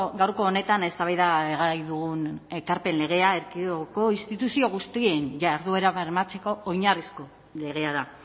gaurko honetan eztabaidagai dugun ekarpen legea erkidegoko instituzio guztien jarduera bermatzeko oinarrizko legea da